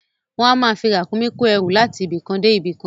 Wọ́n á máa fi Ràkúnmí kó ẹrú láti ibì kan dé ibì kan